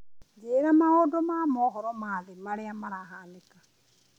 njĩĩra maũndũ ma mohoro ma thĩ marĩa mahanĩka